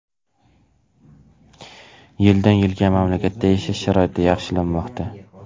Yildan yilga mamlakatda yashash sharoiti yaxshilanmoqda.